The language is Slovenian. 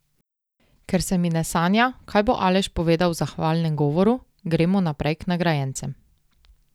Ker se mi ne sanja, kaj bo Aleš povedal v zahvalnem govoru, gremo naprej k nagrajencem.